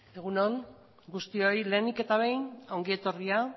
egun on guztioi lehenik eta behin ongi etorria